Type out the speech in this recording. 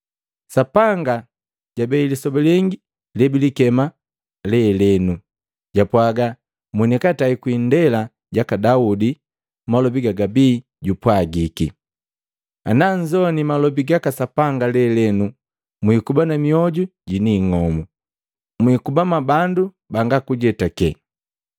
Sapanga jabei lisoba lengi lebilikema, “Lelenu.” Japwaga monikatai kwii indela jaka Daudi malobi gajabii jupwagiki: “Ana nzowini malobi gaka Sapanga lelenu mwiikuba mioju jini ing'omu mwikuba mwabandu banga kujetake.”